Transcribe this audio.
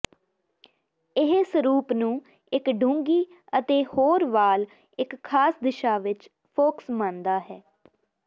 ਇਹ ਸਰੂਪ ਨੂੰ ਇੱਕ ਡੂੰਘੀ ਅਤੇ ਹੋਰ ਵਾਲ ਇੱਕ ਖਾਸ ਦਿਸ਼ਾ ਵਿੱਚ ਫੋਕਸ ਮੰਨਦਾ ਹੈ